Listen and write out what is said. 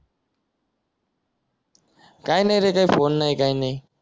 काय नाय रे काय फोन नाही काय नाय